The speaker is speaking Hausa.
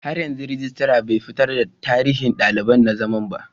Har yanzu regitra bai fitar da tarihin daliban na zaman ba.